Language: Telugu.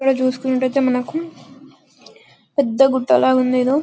ఇక్కడ చూస్తున్నట్లైతే పెద్ద గూథల ఉంది ఏదో --